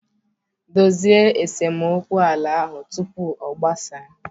Dozie esemokwu ala ahụ tupu ọ gbasaa